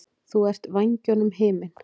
Þú ert vængjunum himinn.